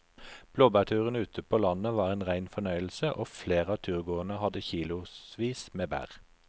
Blåbærturen ute på landet var en rein fornøyelse og flere av turgåerene hadde kilosvis med bær.